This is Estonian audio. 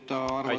Aitäh!